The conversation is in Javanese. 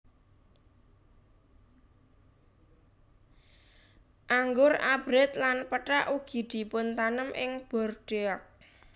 Anggur abrit lan pethak ugi dipuntanem ing Bordeaux